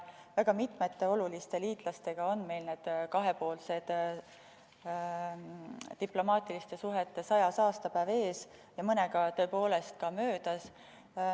Väga mitmete oluliste liitlastega on meil kahepoolsete diplomaatiliste suhete 100. aastapäev ees ja mõnega tõepoolest ka möödas.